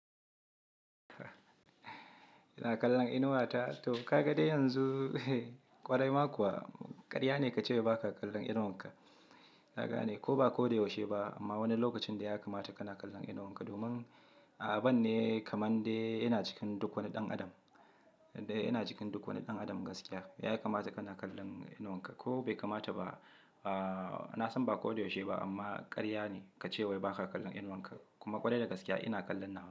Ina kallon inuwata? To ka ga dai yanzu, ƙwarai ma kuwa karya ne ka ce wai ba ka kallon inuwanka. Ka gane, ko ba ko da yaushe ba amma wani lokacin dai ya kamata kana kallon inuwanka. Ka gane, ko ba ko da yaushe ba amma wani lokacin da ya kamata kana kallon inuwanka. Domin abun ne kamar dai yana cikin duk wani ɗan adam, yana cikin duk wani ɗan adam gaskiya. Ya kamata kana kallon inuwanka ko bai kamata ba.